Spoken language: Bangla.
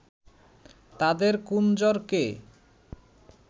তাদের 'কুনজর'কে